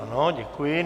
Ano, děkuji.